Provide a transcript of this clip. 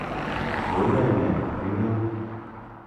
Koiyoe ne eng' yun?